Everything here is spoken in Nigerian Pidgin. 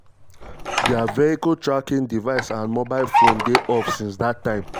dia vehicle tracking device and mobile phones dey off since dat time.